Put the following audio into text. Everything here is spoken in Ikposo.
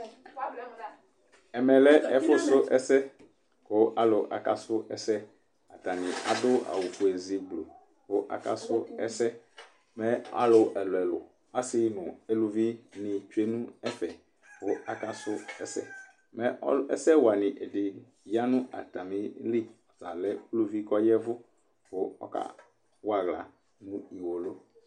Ɛvɛlɛ ɛfu su ɛsɛ kʋ aalʋ akasʋ ɛsɛƐɖi aɖʋ awufoe ozii, kʋ aka su ɛsɛ mɛ aalʋ ɛlʋɛlʋ, aasi, aalʋvi ni tsue nʋ ɛfɛ kʋ aka su ɛsɛƐsɛwa lʋɖi yaa nʋ atamili lalɛ ʋluvii k'ɔɖʋ atamili k'ɔyɛvu k'ɔkawa aɣla